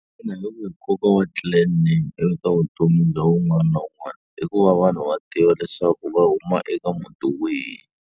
Xana hi wihi nkoka wa clan name eka vutomi bya un'wana na un'wana? I ku va vanhu va tiva leswaku va huma eka muti wihi.